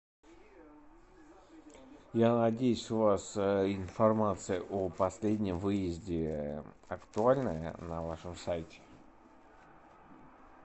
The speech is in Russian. я надеюсь у вас информация о последнем выезде актуальная на вашем сайте